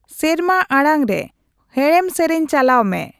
ᱥᱮᱨᱢᱟ ᱟᱲᱟᱝ ᱨᱮ ᱦᱮᱲᱮᱢ ᱥᱮᱨᱮᱧ ᱪᱟᱞᱟᱣ ᱢᱮ